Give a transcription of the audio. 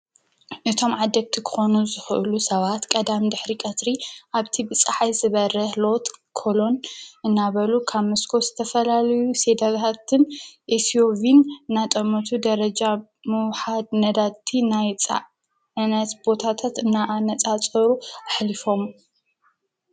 ነቶም ዓደግቲ ኮኑ ዝሕሉ ሰባት ቀዳም ድኅሪ ቀትሪ ኣብቲ ብፀሐይ ዝበረህ ሎት ኮሎን እናበሉ ካብ ምስኮ ዝተፈላለዩ ሴደግሃትን ኤስዩፊን ናጠሞቱ ደረጃ ምውሓድ ነዳቲ ናይፃዕነት ቦታቶት እናኣነጻጸሩ ኣሕሊፍም።